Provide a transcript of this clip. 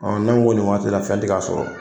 n'an ko nin ma sisan fɛn ti ka sɔrɔ